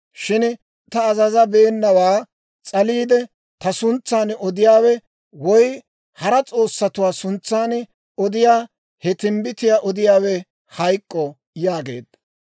Shin ta azazabeenawaa s'aliide ta suntsan odiyaawe woy hara s'oossatuwaa suntsan odiyaa he timbbitiyaa odiyaawe hayk'k'o› yaageedda.